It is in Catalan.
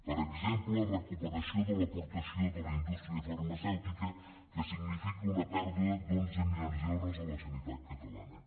per exemple recuperació de l’aportació de la indústria farmacèutica que significa una pèrdua d’onze milions d’euros a la sanitat catalana